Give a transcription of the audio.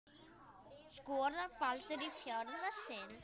Skorar Baldur í fjórða sinn?